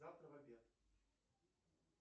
завтра в обед